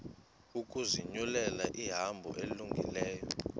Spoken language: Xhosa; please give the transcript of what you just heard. ukuzinyulela ihambo elungileyo